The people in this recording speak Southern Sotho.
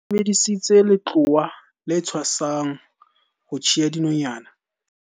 ba sebedisitse letloa le tshwasang ho tjhea dinonyana